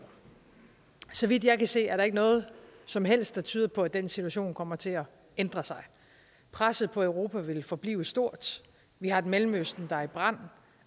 så vidt jeg kan se er der ikke noget som helst der tyder på at den situation kommer til at ændre sig presset på europa vil forblive stort vi har et mellemøsten der står i brand